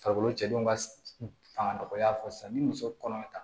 Farikolo cɛdenw ka fanga dɔgɔya fɔ sisan ni muso kɔnɔma tɛ